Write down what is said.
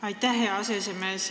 Aitäh, hea aseesimees!